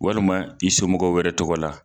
Walima i somɔgɔ wɛrɛ tɔgɔ la.